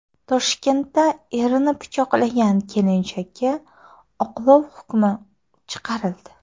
Toshkentda erini pichoqlagan kelinchakka oqlov hukmi chiqarildi.